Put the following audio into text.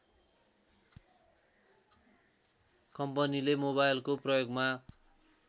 कम्पनीले मोबाइलको प्रयोगमा